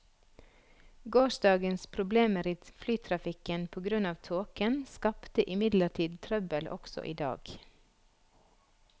Gårsdagens problemer i flytrafikken på grunn av tåken skapte imidlertid trøbbel også i dag.